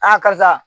karisa